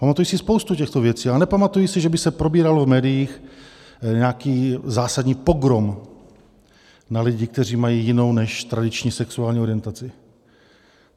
Pamatuji si spoustu těchto věcí, ale nepamatuji si, že by se probíral v médiích nějaký zásadní pogrom na lidi, kteří mají jinou než tradiční sexuální orientaci.